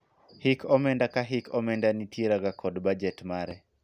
hik omenda ka hik omenda nitiera ga kod bajet mare